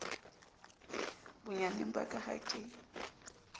bonyaneng ba ka ha ke